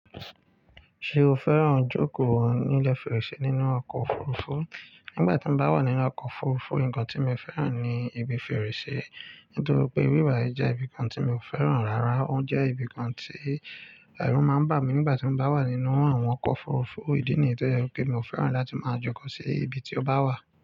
Ṣé o fẹ́ràn jókòó ní ilé fèrèsé nínú ọkọ̀ òfurufú? Nígbà tí mo bá wà nínú ọkọ̀ òfurufú, nǹkan tí mo fẹ́ràn ni ibi fèrèsé. Nítorí pé wíwà yìí jẹ́ ibìkan tí mi ò fẹ́ràn rárá. Ó jẹ́ ibìkan tí ẹ̀rù máa ń bà mí nígbà tí mo bá wà nínú àwọn ọkọ̀ òfurufú. Ídí nìyẹn tó jẹ́ pé mi ò fẹ́ràn láti máa joko sí ibi tí ó bá wà.